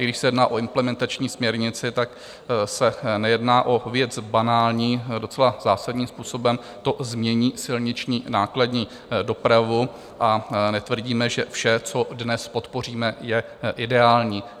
I když se jedná o implementační směrnici, tak se nejedná o věc banální, docela zásadním způsobem to změní silniční nákladní dopravu, a netvrdíme, že vše, co dnes podpoříme, je ideální.